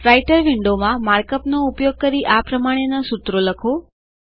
writer વિન્ડોવમાં માર્કઅપનો ઉપયોગ કરી આ પ્રમાણેના સૂત્રો લખો